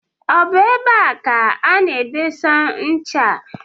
Ọ bụ ebe a ka ana-edesa ncha a?